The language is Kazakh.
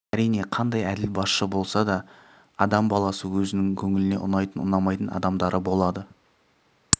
әрине қандай әділ басшы болса да да адам баласы өзінің көңіліне ұнайтын ұнамайтын адамдары болады